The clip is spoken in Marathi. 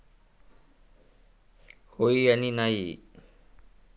होयही आणि नाहीही.